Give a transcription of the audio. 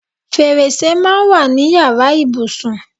Fèrèsè máa ń wà ní yàrá ìbùsùn.